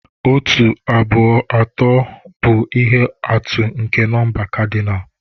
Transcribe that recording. Otu, abụọ, atọ, bụ ihe atụ nke nọmba kadinal.